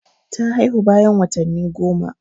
Ta haihu bayan watanni goma.